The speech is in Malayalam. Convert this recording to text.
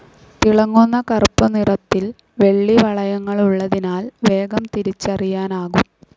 തിളങ്ങുന്ന കറൂപ്പുനിറത്തിൽ വെള്ളിവളയങ്ങളുള്ളതിനാൽ വേഗം തിരിച്ചറിയാനാകും.